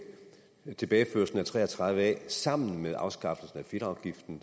tilbageførelsen af § tre og tredive a sammen med afskaffer fedtafgiften